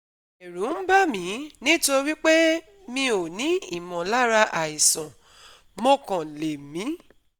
Ẹ̀rù ń bà mí nítorí pé mi ò ní ìmọ̀lára àìsàn, mo kàn lè mí